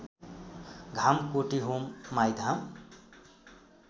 धाम कोटीहोम माईधाम